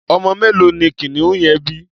Ọmọ mélòó ni kìnìún yẹn bí?